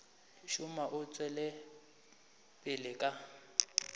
šoma o tšwela pele ka